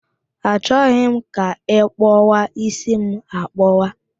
Achoghị m ka ị kpọwa ísí m akpọwa